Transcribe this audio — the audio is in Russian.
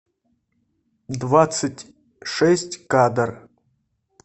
двадцать шесть кадр